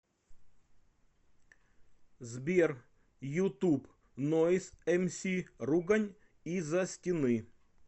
сбер ютуб нойз эмси ругань из за стены